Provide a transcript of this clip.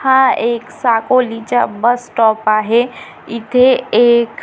हा एक साकोलीचा बस स्टॉप आहे इथे एक--